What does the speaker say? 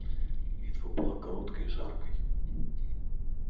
битва была короткой и жаркой